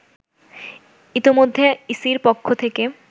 ইতোমধ্যে ইসির পক্ষ থেকে